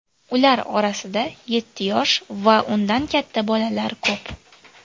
Ular orasida yetti yosh va undan katta bolalar ko‘p.